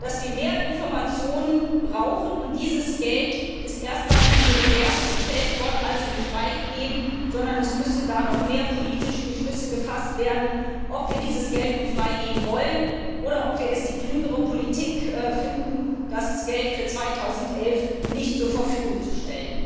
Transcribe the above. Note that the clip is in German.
dass wir mehr Informationen brauchen, und dieses Geld ist erst einmal in die Reserve gestellt worden, also nicht freigegeben, sondern es müssen noch mehr politische Beschlüsse gefasst werden, ob wir dieses Geld nun freigeben wollen oder ob wir es als klügere Politik erachten, das Geld für 2011 nicht zur Verfügung zu stellen.